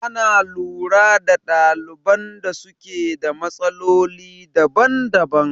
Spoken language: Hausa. Ana lura da ɗaliban da suke da matsaloli daban daban